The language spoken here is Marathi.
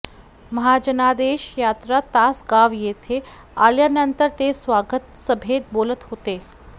महाजनादेश यात्रा तासगाव येथे आल्यानंतर ते स्वागत सभेत बोलत होते